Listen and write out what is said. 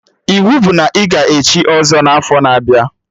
Iwu bụ na ị ga echi ọzọ n'afọ na-abịa!